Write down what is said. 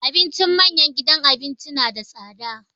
Abincin manyan gidan abinci na da tsada.